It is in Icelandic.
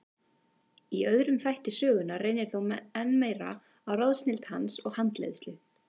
Í öðrum þætti sögunnar reynir þó enn meir á ráðsnilld hans og handleiðslu.